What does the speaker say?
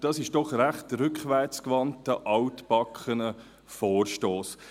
Dies ist doch ein recht rückwärtsgewandter, altbackener Vorstoss.